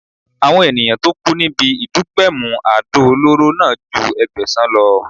Àwọn ènìyàn tó kú níbi ìdúgbẹ̀mù àdó olóró náà ju Ẹgbẹ̀sàn lọ.